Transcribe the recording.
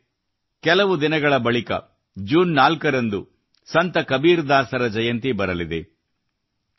ಸ್ನೇಹಿತರೇ ಕೆಲವು ದಿನಗಳ ಬಳಿಕ ಜೂನ್ 4 ರಂದು ಸಂತ ಕಬೀರ್ ದಾಸರ ಜಯಂತಿ ಬರಲಿದೆ